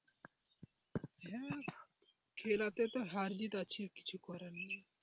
হ্যাঁ খেলাতে তো হার জিত আছে কিছু করার নেই.